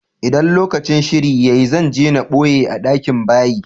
ldan lokacin shiri ya yi, zan je n boye a dakin bayi.